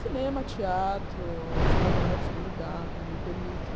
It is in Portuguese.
Cinema, teatro, restaurantes, quando dá, quando me permite.